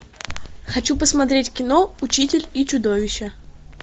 хочу посмотреть кино учитель и чудовище